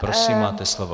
Prosím, máte slovo.